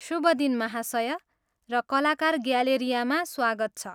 शुभ दिन महाशय, र कलाकार ग्यालेरियामा स्वागत छ!